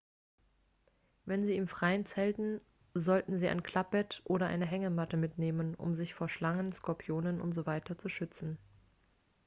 wenn sie im freien zelten sollten sie ein klappbett oder eine hängematte mitnehmen um sich vor schlangen skorpionen usw. zu schützen